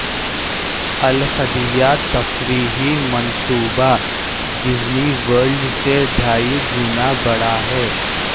القدیہ تفریحی منصوبہ Disney World سے ڈھائی گنا بڑا ہے